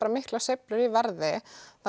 miklar sveiflur í verði